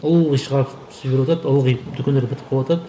ылғи шығарып түсіріватады ылғи дүкендерде бітіп қалыватады